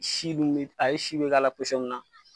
Si d'un bɛ ale si bɛ k'a la mun na